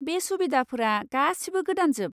बे सुबिदाफोरा गासिबो गोदानजोब।